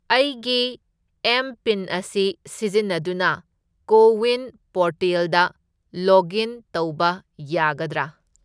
ꯑꯩꯒꯤ ꯑꯦꯝ.ꯄꯤꯟ.ꯑꯁꯤ ꯁꯤꯖꯤꯟꯅꯗꯨꯅ ꯀꯣ ꯋꯤꯟ ꯄꯣꯔꯇꯦꯜꯗ ꯂꯣꯒꯏꯟ ꯇꯧꯕ ꯌꯥꯒꯗ꯭ꯔꯥ?